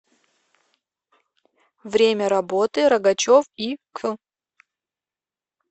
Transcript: время работы рогачев и к